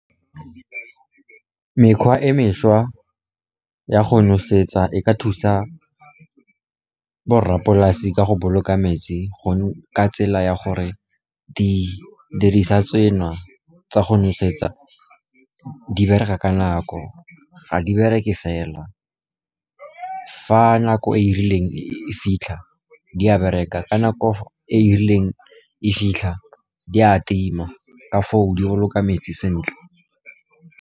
Mekgwa e mešwa ya go nosetsa e ka thusa borrapolase ka go boloka metsi ka tsela ya gore didiriswa tsena tsa go nosetsa di bereka ka nako, ga di bereke fela, fa nako e e rileng e fitlha, di a bereka ka nako e e rileng e fitlha, di a tima, ka foo di boloka metsi sentle.